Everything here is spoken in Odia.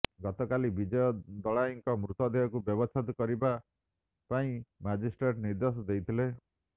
ଗତକାଲି ବିଜୟ ଦଳାଇଙ୍କ ମୃତଦେହକୁ ବ୍ୟବଚ୍ଛେଦ କରିବା ପାଇଁମ ମାଜିଷ୍ଟ୍ରେଟ୍ ନିର୍ଦ୍ଦେଶ ଦେଇଥିଲେ